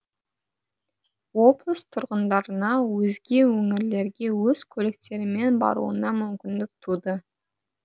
облыс тұрғындарына өзге өңірлерге өз көліктерімен баруына мүмкіндік туды